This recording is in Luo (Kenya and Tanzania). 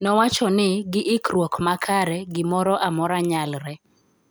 nowachoni gi ikkruok makare gi moro amora nyalre